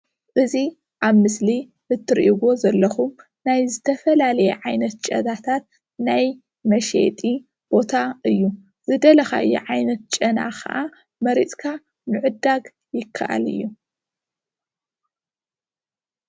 እዚ ኣብ ምስሊ እትርእይዎ ዘለኹም ናይ ዝተፈላለየ ዓይነት ጨናታት ናይ መሸየጢ ቦታ እዩ ዝደለኻዮ ዓይነት ጨና ኸዓ መሪፅካ ምዕዳግ ይከኣል እዩ ።